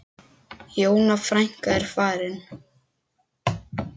Jóna frænka er farin.